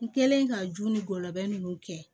N kɛlen ka ju ni gɔbɔni ninnu kɛ